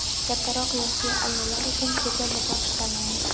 Kattaroq yoshli ayollar uchun kecha libosi tanlaymiz.